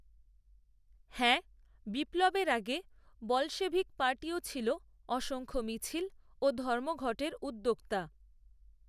হ্যাঁ, বিপ্লবের আগে, বলশেভিক পার্টিও ছিল, অসংখ্য মিছিল, ও, ধর্মঘটের, উদ্যোক্তা